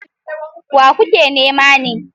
Wa kuke nema ne?